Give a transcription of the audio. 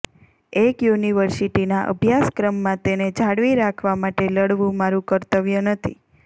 એક યુનિવર્સિટીના અભ્યાસક્રમમાં તેને જાળવી રાખવા માટે લડવું મારૂં કર્તવ્ય નથી